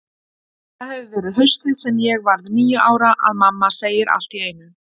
Það hefur verið haustið sem ég varð níu ára, að mamma segir allt í einu